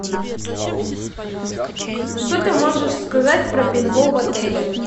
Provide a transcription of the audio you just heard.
что ты можешь сказать про пейнтбол в отеле